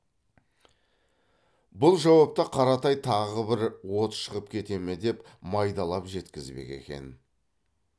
бұл жауапты қаратай тағы бір от шығып кете ме деп майдалап жеткізбек екен